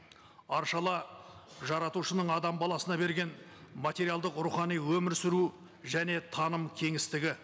аршала жаратушының баласына берген материалдық рухани өмір сүру және таным кеңістігі